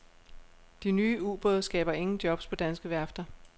De nye ubåde skaber ingen jobs på danske værfter.